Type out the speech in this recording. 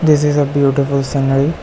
This is a beautiful scenery.